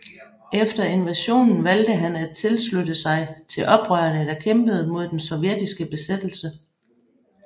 Efter invasionen valgte han at tilslutte sig til oprørene der kæmpede mod den sovjetiske besættelse